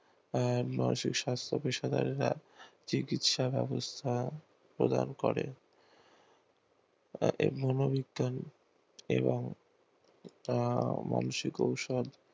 আহ মানসিক সংস্থাকে সবাই চিকিৎসা ব্যবস্তা প্রদান করে এবং মানসিক ঔষধ